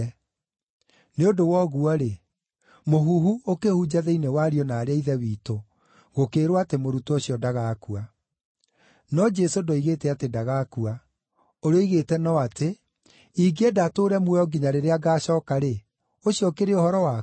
Nĩ ũndũ wa ũguo-rĩ, mũhuhu ũkĩhunja thĩinĩ wa ariũ na aarĩ a Ithe witũ gũkĩĩrwo atĩ mũrutwo ũcio ndagakua. No Jesũ ndoigĩte atĩ ndagakua; ũrĩa oigĩte no atĩ, “Ingĩenda atũũre muoyo nginya rĩrĩa ngacooka-rĩ, ũcio ũkĩrĩ ũhoro waku?”